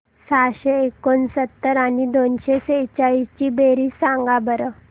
सहाशे एकोणसत्तर आणि दोनशे सेहचाळीस ची बेरीज सांगा बरं